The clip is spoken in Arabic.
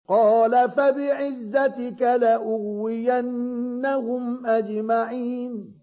قَالَ فَبِعِزَّتِكَ لَأُغْوِيَنَّهُمْ أَجْمَعِينَ